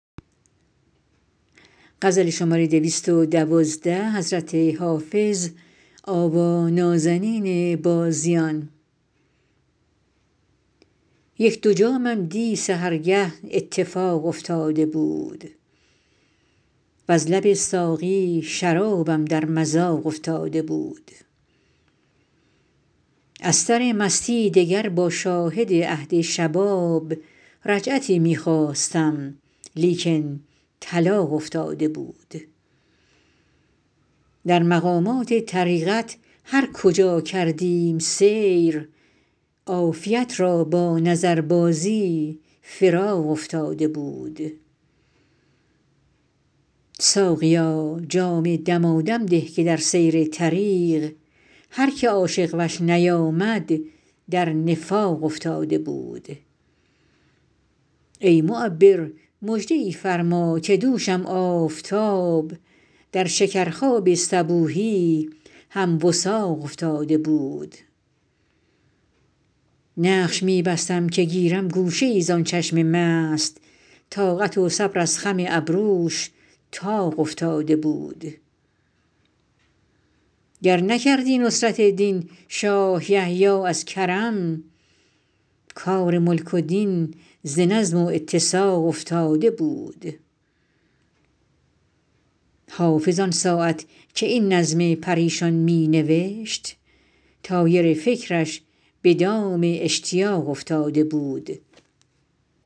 یک دو جامم دی سحرگه اتفاق افتاده بود وز لب ساقی شرابم در مذاق افتاده بود از سر مستی دگر با شاهد عهد شباب رجعتی می خواستم لیکن طلاق افتاده بود در مقامات طریقت هر کجا کردیم سیر عافیت را با نظربازی فراق افتاده بود ساقیا جام دمادم ده که در سیر طریق هر که عاشق وش نیامد در نفاق افتاده بود ای معبر مژده ای فرما که دوشم آفتاب در شکرخواب صبوحی هم وثاق افتاده بود نقش می بستم که گیرم گوشه ای زان چشم مست طاقت و صبر از خم ابروش طاق افتاده بود گر نکردی نصرت دین شاه یحیی از کرم کار ملک و دین ز نظم و اتساق افتاده بود حافظ آن ساعت که این نظم پریشان می نوشت طایر فکرش به دام اشتیاق افتاده بود